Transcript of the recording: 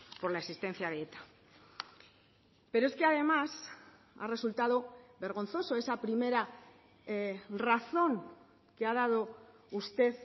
por la existencia de eta pero es que además ha resultado vergonzoso esa primera razón que ha dado usted